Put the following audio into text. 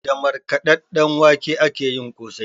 Da markaɗaɗɗen wake akeyin kosai